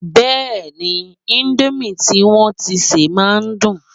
Bẹ́ẹ̀ni, indomie tí wọn tíi sè máa ń dùn